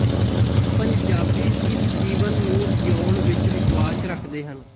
ਪੰਜਾਬੀ ਇਸ ਜੀਵਨ ਨੂੰ ਜੀਊਣ ਵਿੱਚ ਵਿਸ਼ਵਾਸ ਰੱਖਦੇ ਹਨ